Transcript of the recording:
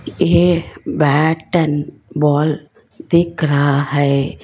ये bat and ball दिख रहा है।